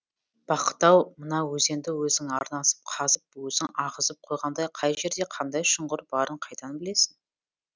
бақыт ау мына өзенді өзің арнасын қазып өзің ағызып қойғандай қай жерде қандай шұңқыр барын қайдан білесің